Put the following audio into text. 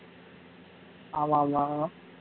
ஆமா ஆமா வரும்